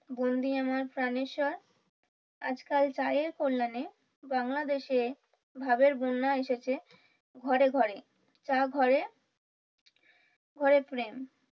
বন্ধি আমার প্রানেশ্বর আজকাল চায়ের কল্যাণে বাংলাদেশে ভাবের বন্যা এসেছে ঘরে ঘরে তারা ঘরে ঘরে ফিরেন।